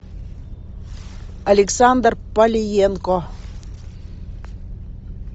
александр палиенко